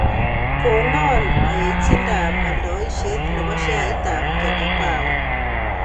Konon aechindap aldaisiet ne po sheaitap Kenya power